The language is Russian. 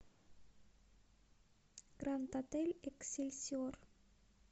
гранд отель эксельсиор